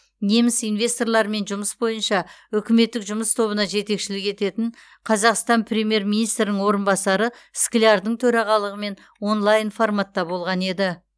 неміс инвесторлармен жұмыс бойынша үкіметтік жұмыс тобына жетекшілік ететін қазақстан премьер министрінің орынбасары склярдың төрағалығымен онлайн форматта болған еді